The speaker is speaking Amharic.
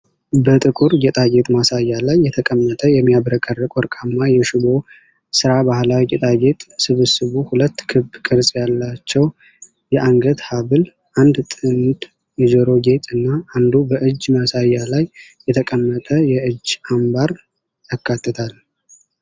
በጥቁር ጌጣጌጥ ማሳያ ላይ የተቀመጠ የሚያብረቀርቅ ወርቃማ የሽቦ ስራ ባህላዊ ጌጣጌጥ ስብስቡ ሁለት ክብ ቅርጽ ያላቸው የአንገት ሐብል፣ አንድ ጥንድ የጆሮ ጌጥ እና አንዱ በእጅ ማሳያ ላይ የተቀመጠ የእጅ አምባር ያካትታል።